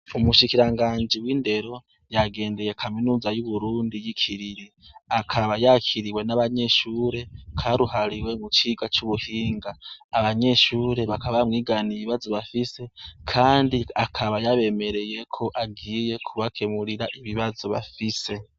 Umushikiranganji w'indero yagendeye kaminuza y'Uburundi y'ikiriri. Akaba yakiriwe n'abanyeshure karuhariwe mu cigwa c'ubuhinga. Abanyeshure bakaba bamwiganiye ibibazo bafise kandi akaba yabemereye ko agiye kubakemurira ibibazo bafise.